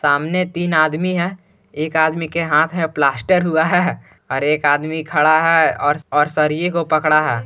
सामने तीन आदमी है एक आदमी के हाथ है प्लास्टर हुआ है और एक आदमी खडा है और सरिए को पकडा है।